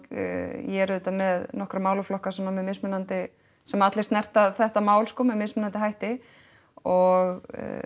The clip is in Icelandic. ég er auðvitað með nokkra málaflokka svona með mismunandi sem allir snerta þetta mál með mismunandi hætti og